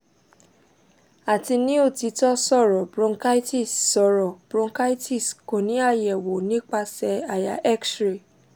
ati ni otitọ sọrọ bronchitis sọrọ bronchitis ko ni ayẹwo nipasẹ àyà x ray